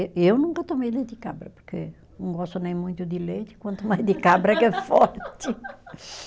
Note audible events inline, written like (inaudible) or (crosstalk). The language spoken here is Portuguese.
Eu nunca tomei leite de cabra, porque não gosto nem muito de leite, quanto mais de cabra (laughs) que é forte.